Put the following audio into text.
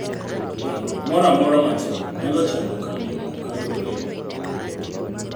Chandruok moro amora matin nyalo chando kambi no ka luore gi duong'ne.